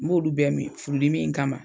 N b'olu bɛ min furudimin in kama.